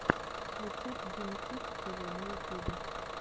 рецепт димы кидс тв на ютьюбе